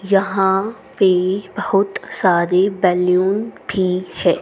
यहां पे बहुत सारे बैलून भी है।